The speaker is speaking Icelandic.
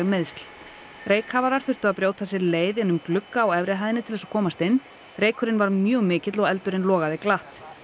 meiðsl reykkafarar þurftu að brjóta sér leið inn um glugga á efri hæðinni til að komast inn reykurinn var mjög mikill og eldur logaði glatt